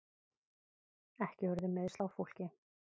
Ekki urðu meiðsl á fólki